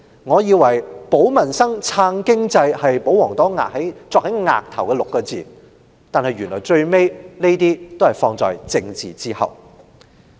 我以為"保民生，撐經濟 "6 個字早已鑿刻在保皇黨額上，但最終這些原來也要放在政治之後。